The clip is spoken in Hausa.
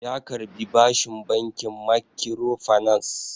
Ya karbi bashin bankin makkiro fanas